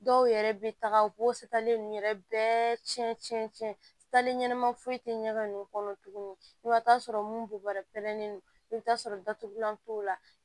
Dɔw yɛrɛ bɛ taga u b'o sate ninnu yɛrɛ bɛɛ cɛn cɛn ɲɛnama foyi tɛ ɲɛgɛn ninnu kɔnɔ tuguni i bɛ taa sɔrɔ mun bubarɛ pɛrɛnnen do i bɛ taa sɔrɔ datugulan t'o la